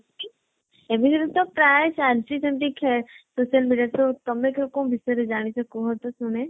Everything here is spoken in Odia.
ତ ପ୍ରାୟେ ଚାଲଚି ସେମତି social media ତ ତମେ କୋଉ ବିଷୟରେ ଜାଣିଛ, କୁହତ ଶୁଣେ।